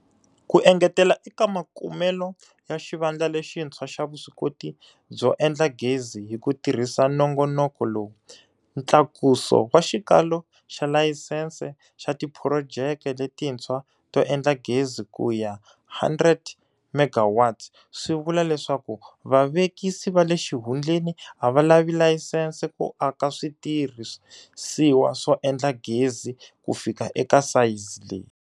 Ku engetela eka makumelo ya xivandla lexintshwa xa vuswikoti byo endla gezi hi ku tirhisa nongonoko lowu, ntlakuso wa xikalo xa layisense xa tiphurojeke letintshwa to endla gezi ku ya 100 MW swi vula leswaku vavekisi va le xihundleni a va lavi layisense ku aka switirhisiwa swo endla gezi ku fika eka sayizi leyi.